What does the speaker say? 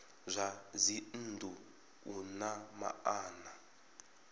zwa dzinnu u na maana